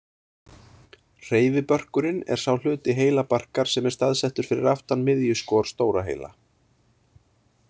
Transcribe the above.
Hreyfibörkurinn er sá hluti heilabarkar sem er staðsettur fyrir aftan miðjuskor stóra heila.